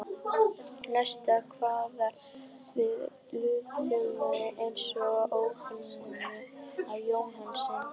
Næst kveður við lúðurhljómur eins og í Opinberun Jóhannesar